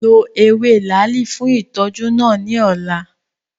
Lo ewe laali fun itọju naa ni ọla!